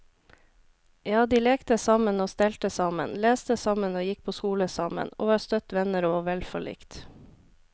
Ja, de lekte sammen og stelte sammen, leste sammen og gikk på skole sammen, og var støtt venner og vel forlikt.